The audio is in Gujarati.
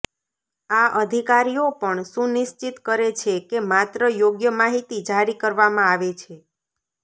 આ અધિકારીઓ પણ સુનિશ્ચિત કરે છે કે માત્ર યોગ્ય માહિતી જારી કરવામાં આવે છે